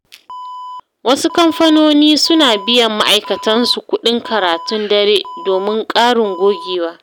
Wasu kamfanoni suna biyan ma’aikatansu kuɗin karatun dare domin ƙarin gogewa.